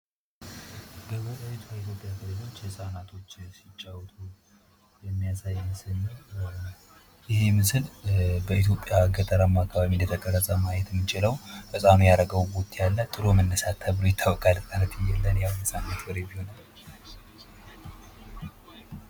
በምስሉ የምንመለከተው ህጻናቶች ሲጫዎቱ የማያሳይ ምስል ነው። ይህ ምስል በኢትዮጵያ ገጠራማ አካባቢ እንደተቀረጸ ማየት እምንችለው ህጻኑ ያረገው ቦቲ አለ። ጥሎ መነሳት ተብሎ ይታወቃል።